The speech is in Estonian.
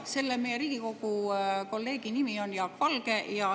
Selle meie Riigikogu kolleegi nimi on Jaak Valge.